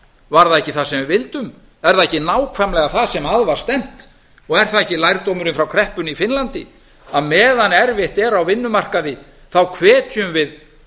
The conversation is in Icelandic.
var það ekki það sem við vildum er það ekki nákvæmlega það sem að var stefnt og er það ekki lærdómurinn frá kreppunni í finnlandi að meðan erfitt er á vinnuamrkai hvetjum við